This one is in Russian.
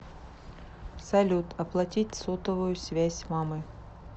салют оплатить сотовую связь мамы